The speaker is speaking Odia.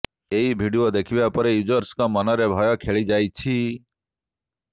ଏହି ଭିଡିଓ ଦେଖିବା ପରେ ୟୁଜର୍ସଙ୍କ ମନରେ ଭୟ ଖେଳି ଯାଇଛି